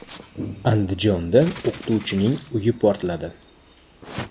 Andijonda o‘qituvchining uyi portladi.